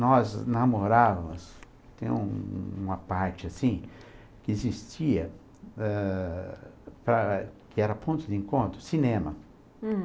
Nós namorávamos, tem uma parte assim, que existia, eh, eh, que era ponto de encontro, cinema. Hm,